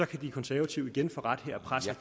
kan de konservative igen få ret her og presse